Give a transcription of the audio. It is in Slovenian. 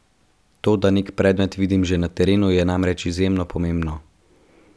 To, da nek predmet vidim že na terenu, je namreč izjemno pomembno.